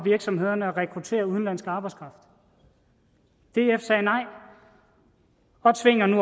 virksomhederne at rekruttere udenlandsk arbejdskraft df sagde nej og tvinger nu